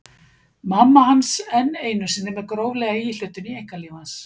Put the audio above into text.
Mamma hans enn einu sinni með gróflega íhlutun í einkalíf hans!